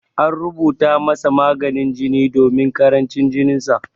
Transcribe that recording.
An rubuta masa maganin jini domin karancin jininsa.